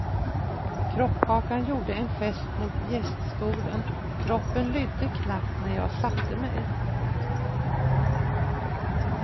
Kroppkakan gjorde en gest mot gäststolen, kroppen lydde knappt när jag satte mig.